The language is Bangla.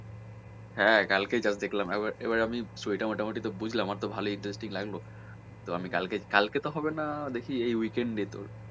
হ্যাঁ কালকেই just আমি দেখলাম এবার এবারে আমি story টা মোটামটি তো বুঝলাম আমার তো ভালোই interesting লাগলো তো আমি কালকে কালকে তো হবে না দেখি এই weekend এ তোর